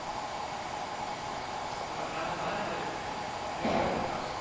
કશો વાંધો નહી બતાવાનુ તો મારે ને મારી girlfriend ને તમે કઈ રીતે બતાવશો